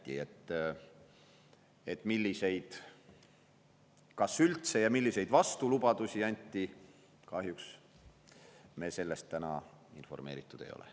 Milliseid kas üldse ja milliseid vastulubadusi anti, sellest me täna kahjuks informeeritud ei ole.